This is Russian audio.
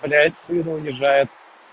блядь сына унижает